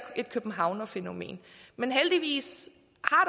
et københavnerfænomen men heldigvis